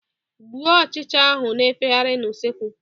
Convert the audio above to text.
Gbuo ọchịcha ahụ na-efegarị n'usekwu!